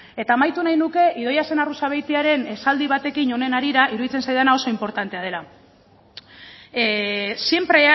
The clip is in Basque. eta amaitu nahi nuke idoia zenarruzabeitiaren esaldi batekin honen harira iruditzen zaidana oso inportantea dela siempre